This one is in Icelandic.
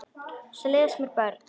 Og svo leiðast mér börn.